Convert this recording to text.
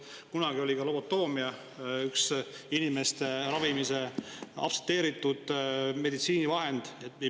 Kunagi oli ka lobotoomia üks aktsepteeritud inimeste ravimise vahend.